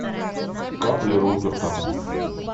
капли руперта